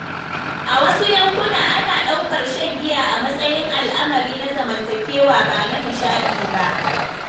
A wasu yankuna, ana ɗaukar shan giya a matsayin al'amari na zamantakewa ba na nishaɗi ba.